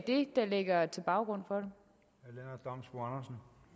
det der er baggrunden for